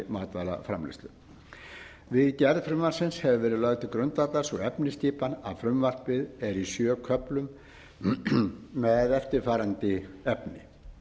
matvælaframleiðslu við gerð frumvarpsins hefur verið lögð til grundvallar sú efnisskipan að frumvarpið er í sjö köflum með eftirfarandi efni